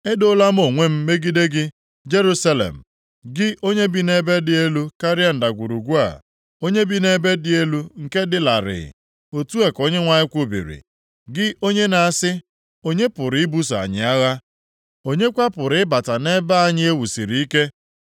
Edoola m onwe m megide gị, Jerusalem, gị onye bi nʼebe dị elu karịa ndagwurugwu a, onye bi nʼebe dị elu nke dị larịị, Otu a ka Onyenwe anyị kwubiri. Gị onye na-asị “Onye pụrụ ibuso anyị agha? Onye kwa pụrụ ịbata nʼebe anyị e wusiri ike?”